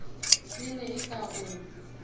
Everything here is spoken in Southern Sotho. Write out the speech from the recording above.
e ne e ka o